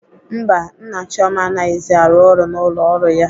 Mba, Nna Chioma anaghịzi arụ ọrụ n'ụlọ ọrụ ya.